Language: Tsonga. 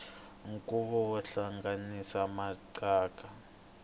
nkhuvo wo hlanganisa maxaka